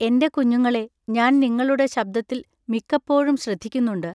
എന്റെ കുഞ്ഞുങ്ങളെ ഞാൻ നിങ്ങളുടെ ശബ്ദത്തിൽ മിക്കപ്പോഴും ശ്രദ്ധിക്കുന്നുണ്ടു.